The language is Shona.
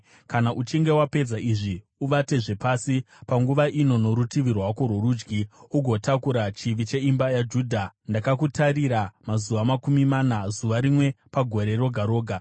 “Kana uchinge wapedza izvi, uvatezve pasi, panguva ino, norutivi rwako rworudyi, ugotakura chivi cheimba yaJudha. Ndakakutarira mazuva makumi mana, zuva rimwe pagore roga roga.